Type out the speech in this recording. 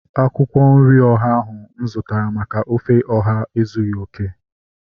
Akwụkwọ nri ọha ahu mụ zụtara maka ofe ọha ezughị okè